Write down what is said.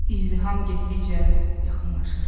İzdiham getdikcə yaxınlaşırdı.